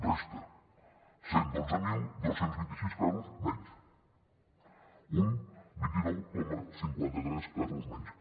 resta cent i dotze mil dos cents i vint sis casos menys un vint nou coma cinquanta tres per cent de casos menys